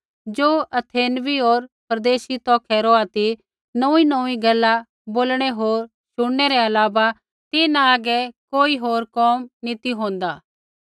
ज़ो अथेनवी होर परदेशी तौखै रौहा ती नोऊँईनोऊँई गैला बोलणै होर शुणनै रै अलावा तिन्हां हागै कोई होर कोम नी ती होंदा